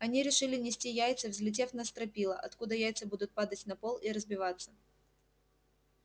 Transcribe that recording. они решили нести яйца взлетев на стропила откуда яйца будут падать на пол и разбиваться